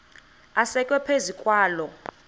asekwe phezu kwaloo